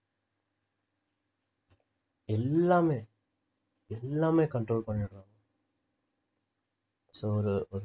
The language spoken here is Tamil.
எல்லாமே எல்லாமே control பண்ணிடுறாங்க so ஒரு